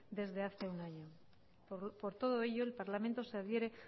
desde hace un año por todo ello el parlamento se adhiere